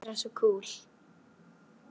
Þurfa alltaf að vera svo kúl.